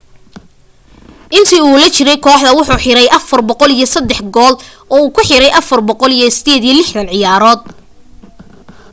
inta u la jiray kooxda wuxuu xiray 403 gool uu ku xiray 468 ciyaaro